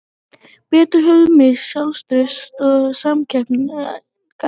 Bretar höfðu misst sjálfstraust og samkeppnishæfni.